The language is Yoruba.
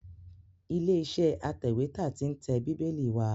Ilé iṣẹ́ atẹ̀wẹ́tà tí ń tẹ Bíbélì wa